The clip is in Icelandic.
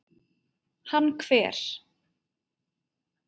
Hann hver?